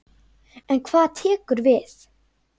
En hvað tekur við?